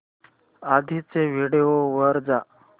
आधीच्या व्हिडिओ वर जा